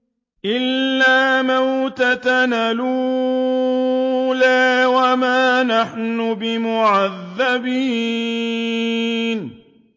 إِلَّا مَوْتَتَنَا الْأُولَىٰ وَمَا نَحْنُ بِمُعَذَّبِينَ